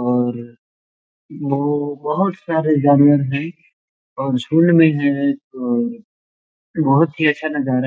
और बहोत सारे जानवर है और झुंड में है और बहोत ही अच्छा नज़ारा--